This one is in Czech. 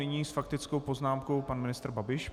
Nyní s faktickou poznámkou pan ministr Babiš.